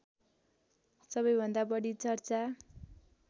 सबैभन्दा बढी चर्चा